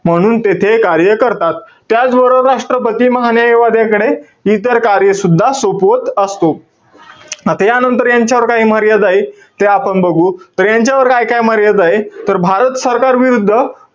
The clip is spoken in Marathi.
म्हणून तेथे कार्य करतात. त्याचबरोबर राष्ट्रपती, महान्यायवाद्याकडे इतर कार्य सुद्धा सोपवत असतो. आता यानंतर, यांच्यावर काय मर्यादाय, त्या आपण बघू. तर यांच्यावर काय-काय मर्यादाय? तर भारत सरकारविरुद्ध,